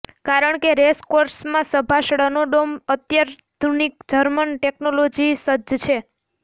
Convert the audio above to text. કારણ કે રેસકોર્સમાં સભા સ્ળનો ડોમ અત્યાધુનિક જર્મન ટેકનોલોજીી સજ્જ છે